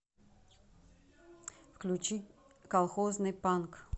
включи колхозный панк